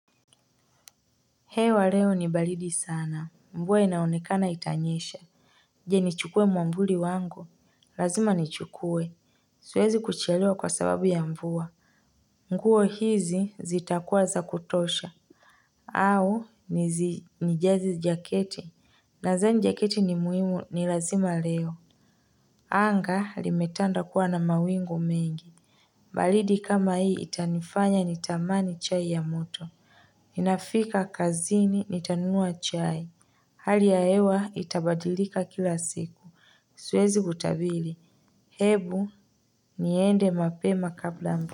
Hewa leo ni balidi sana. Mvua inaonekana itanyesha. Je nichukue mwamvuli wangu. Lazima nichukue siwezi kuchelewa kwa sababu ya mvua nguo hizi zitakuwa za kutosha. Au nizi nijaze jaketi. Nazani jaketi ni muhimu ni lazima leo. Anga limetanda kuwa na mawingu mengi. Baridi kama hii itanifanya nitamani chai ya moto ninafika kazini nitanunua chai. Hali ya hewa itabadilika kila siku. Siwezi kutabili. Hebu niende mape ma kabla mvu.